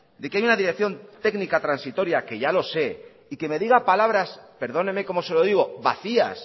de que hay una dirección técnica transitoria que ya lo sé y que me diga palabras perdóneme como se lo digo vacías